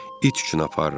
İt üçün aparıram.